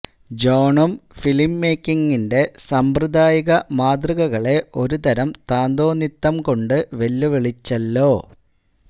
ജോണും film മേയ്ക്കിങ്ങിന്റെ സാമ്പ്രദായിക മാതൃകകളെ ഒരുതരം താന്തോന്നിത്തം കൊണ്ട് വെല്ലുവിളിച്ചല്ലോ